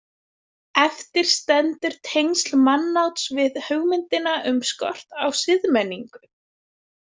Eftir stendur tengsl mannáts við hugmyndina um skort á siðmenningu.